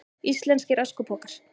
Íslenskir öskupokar.